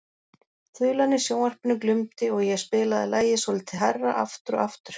Þulan í sjónvarpinu glumdi og ég spilaði lagið svolítið hærra aftur og aftur.